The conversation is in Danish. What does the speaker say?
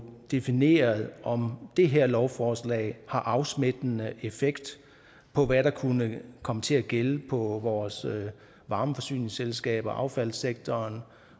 defineret om det her lovforslag har afsmittende effekt på hvad der kunne komme til at gælde for vores varmeforsyningsselskaber affaldssektoren